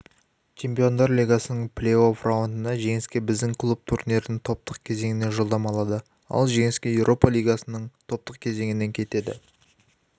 чемпиондар лигасының плей-офф раундында жеңсе біздің клуб турнирдің топтық кезеңіне жолдама алады ал жеңілсе еуропа лигасының топтық кезеңіне кетеді